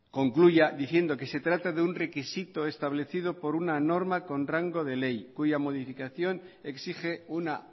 concluya diciendo que se trata de un requisito establecido por una norma con rango de ley cuya modificación exige una